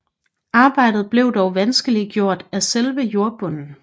Arbejdet blev dog vanskeliggjort af selve jordbunden